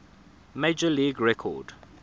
major league record